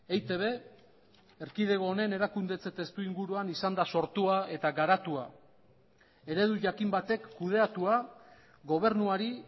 eitb erkidego honen erakundetze testuinguruan izan da sortua eta garatua eredu jakin batek kudeatua gobernuari